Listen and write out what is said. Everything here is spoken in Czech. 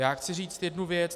Já chci říct jednu věc.